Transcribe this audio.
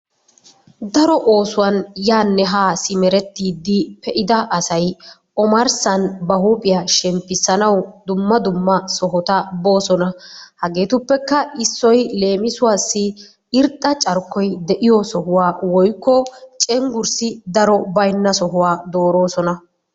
Daro oosuwan yaanne haa simmerettiidi pe'adda asay ommarssan ba huuphphiya shemmppissanawu dumma dumma sohota boossona. Hageetuppekka issoy leemissuwaassi irxxa carkkoy de'iyo sohuwa woykko cenggurssi daro baynna sohuwa dooroosona.